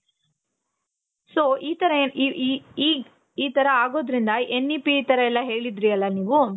so ಈ ತರ ಆಗೋದ್ರಿಂದ N E P ಈ ತರ ಎಲ್ಲಾ ಹೇಳಿದ್ರಿ ಅಲ ನೀವು